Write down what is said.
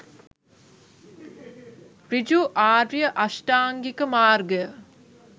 ඍජු ආර්ය අෂ්ටාංගික මාර්ගය